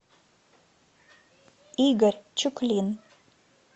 игорь чуклин